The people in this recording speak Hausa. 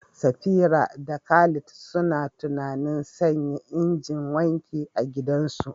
Safira da Khalid suna tunanin sanya injin wanki a gidansu.